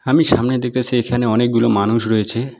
আমি সামনে দেখতাসি এইখানে অনেকগুলো মানুষ রয়েছে।